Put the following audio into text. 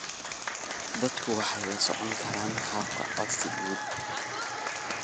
Dadku waxay la socon karaan habka codsigooda.